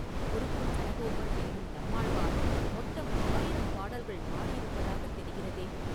குருகூர்ச் சடகோபர் என்னும் நம்மாழ்வார் மொத்தம் ஆயிரம் பாடல்கள் பாடியிருப்பதாகத் தெரிகிறதே?